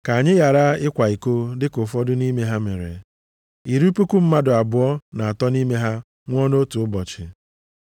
Ka anyị ghara ịkwa iko dịka ụfọdụ nʼime ha mere, iri puku mmadụ abụọ na atọ nʼime ha nwụọ nʼotu ụbọchị.